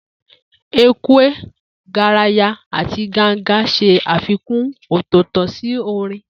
Ekwe, garaya, àti ganga ṣe àfikún ọ̀tọ̀ọ̀tọ̀ sí orin.